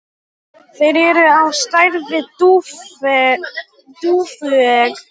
Þeir eru á stærð við dúfuegg.